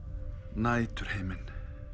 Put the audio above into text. næturhimin